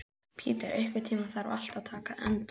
Petter, einhvern tímann þarf allt að taka enda.